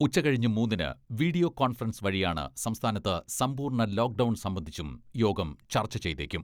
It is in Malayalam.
ഉച്ച കഴിഞ്ഞ് മൂന്നിന് വീഡിയോ കോൺഫറൻസ് വഴിയാണ് സംസ്ഥാനത്ത് സമ്പൂർണ്ണ ലോക്ഡൗൺ സംബന്ധിച്ചും യോഗം ചർച്ച ചെയ്തേക്കും.